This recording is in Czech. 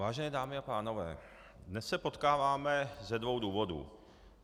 Vážené dámy a pánové, dnes se potkáváme ze dvou důvodů.